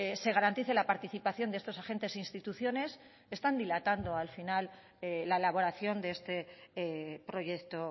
se garantice la participación de estos agentes e instituciones están dilatando al final la elaboración de este proyecto